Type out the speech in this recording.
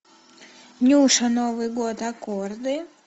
нюша новый год аккорды